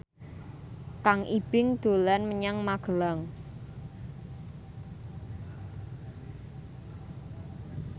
Kang Ibing dolan menyang Magelang